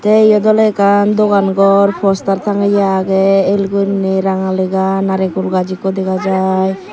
tey iyot oley ekkan dogan gor poster tangeye agey el guriney ranga lega naregul gaaj ikko dega jai.